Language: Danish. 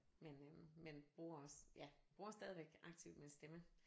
Men øh men bruger også ja bruger stadigvæk aktivt min stemme